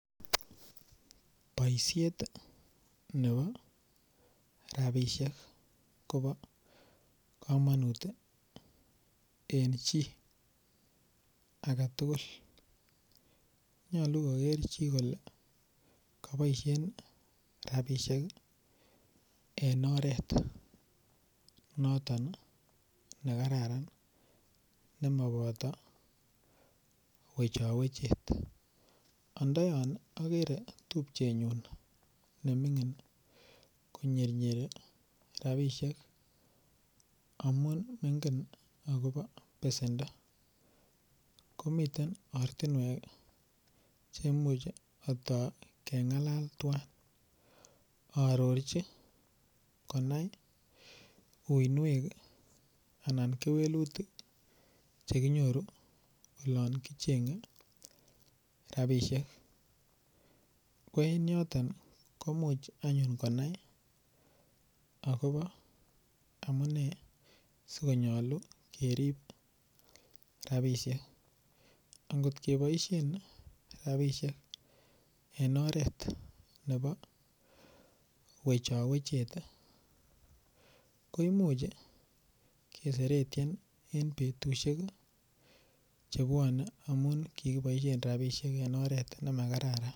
Boishet nebo ropisiek Kobo komonut eng chii agetugul nyolu koker chii kole kiboishen ropisiek en oret noton ne kararan nemaboto wechowechet andayan akere tupchenyun nemining ko nyernyeren ropisiek amu ingen akobo pesendo ko miten aratinwek cheimuche kengalal tuwain arorchin konai uinwek anan kewelutik chekinyoru olon kichenyei rapishek ko en yoton ko much anyun konai akobo amune sikonyolu kerip rapishek angot keboishen rapishek eng oret nebo wechowechet ko imuch keseretien en betushek chebuone amun kikiboishe ropisiek eng oret nemakararan.